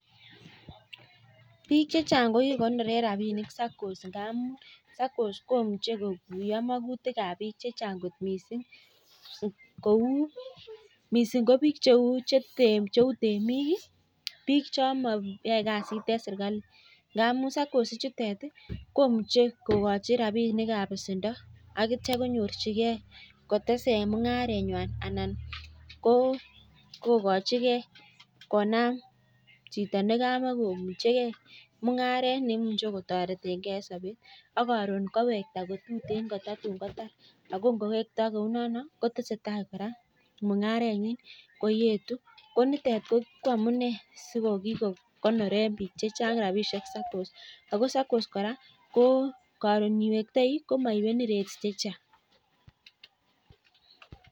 Konoree bik chechang (saccos) amuu imuchi kokuyoo makutik ab bik chechang missing kou bik cheu temik ak bik chemae kasit serkalit sikotesee mungaret anan konam mungaret